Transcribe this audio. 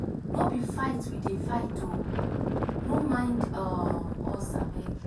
no be fight we dey fight oo. no mind um us abeg.